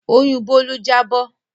Oyún Bólú jábọ̀